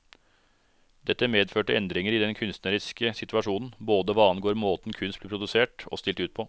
Dette medførte endringer i den kunstneriske situasjonen, både hva angår måten kunst blir produsert og stilt ut på.